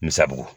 Misabugu